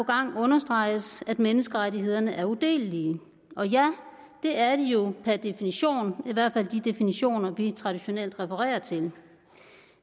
gang understreges at menneskerettighederne er udelelige og ja det er de jo per definition i hvert fald de definitioner vi traditionelt refererer til